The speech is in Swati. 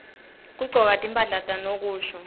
kugcoka timphahla tanokusho